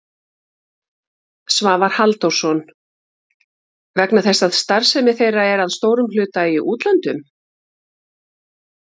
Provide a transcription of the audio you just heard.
Svavar Halldórsson: Vegna þess að starfsemi þeirra er að stórum hluta í útlöndum?